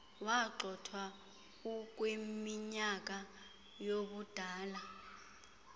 wagxothwa ukwiminyaka yobudala